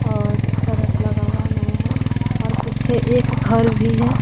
और ट्रक लगा हुआ नया है और पीछे एक घर भी है।